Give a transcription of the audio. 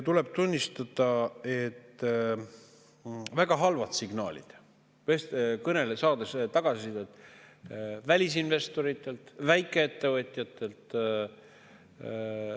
Tuleb tunnistada, olles saanud tagasisidet välisinvestoritelt ja väikeettevõtjatelt, et tõesti väga halvad signaalid.